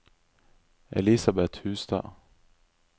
Elisabeth Hustad